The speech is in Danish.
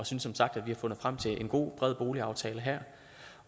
synes som sagt at vi har fundet frem til en god bred boligaftale her